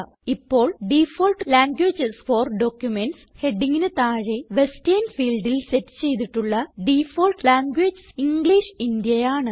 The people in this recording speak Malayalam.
ഇപ്പോൾ ഡിഫോൾട്ട് ലാംഗ്വേജസ് ഫോർ ഡോക്യുമെന്റ്സ് ഹെഡിംഗിന് താഴെ വെസ്റ്റർൻ ഫീൽഡിൽ സെറ്റ് ചെയ്തിട്ടുള്ള ഡിഫാൾട്ട് ലാംഗ്വേജ് ഇംഗ്ലിഷ് Indiaആണ്